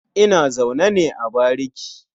Ina zaune ne a bariki.